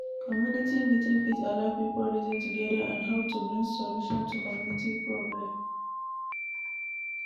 community meeting fit allow pipo reason together on how to bring solution to community problem